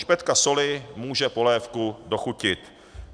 Špetka soli může polévku dochutit.